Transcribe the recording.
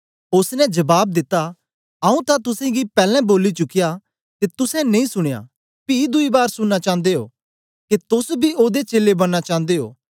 ओसने जबाब दिता आऊँ तां तुसेंगी पैलैं बोली चुक्या ते तुसें नेई सुनयां पी दुई बार सुनना चांदे ओ के तोस बी ओदे चेलें बनना चांदे ओ